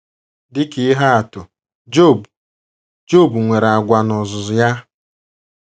Dị ka ihe atụ, Job, Job nwere àgwà n’ozuzu ya.